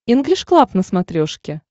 инглиш клаб на смотрешке